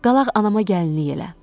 Qalaq anama gəlinlik elə.